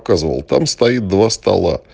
там стоит два стола